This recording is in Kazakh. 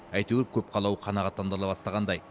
әйтеуір көп қалауы қанғаттандырыла бастағандай